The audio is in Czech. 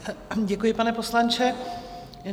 Děkuji, pane poslanče.